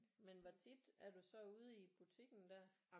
Men hvor tit er du så ude i butikken der?